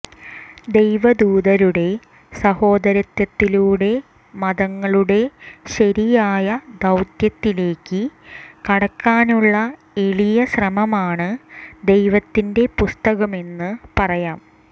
ദൈവദൂതരുടെ സഹോദരത്വത്തിലൂടെ മതങ്ങളുടെ ശരിയായ ദൌത്യത്തിലേക്ക് കടക്കാനുള്ള എളിയ ശ്രമമാണ് ദൈവത്തിന്റെ പുസ്തകമെന്ന് പറയാം